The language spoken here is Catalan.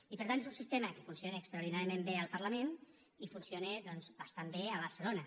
i per tant és un sistema que funciona extraordinàriament bé al parlament i funciona doncs bastant bé a barcelona